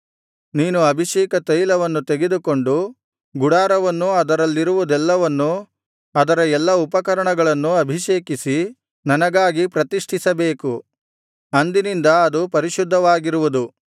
ನೀನು ಅಭಿಷೇಕತೈಲವನ್ನು ತೆಗೆದುಕೊಂಡು ಗುಡಾರವನ್ನೂ ಅದರಲ್ಲಿರುವುದೆಲ್ಲವನ್ನೂ ಅದರ ಎಲ್ಲಾ ಉಪಕರಣಗಳನ್ನೂ ಅಭಿಷೇಕಿಸಿ ನನಗಾಗಿ ಪ್ರತಿಷ್ಠಿಸಬೇಕು ಅಂದಿನಿಂದ ಅದು ಪರಿಶುದ್ಧವಾಗಿರುವುದು